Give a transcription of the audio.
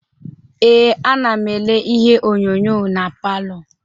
Ee, anam ele ihe onyonyo na palọ.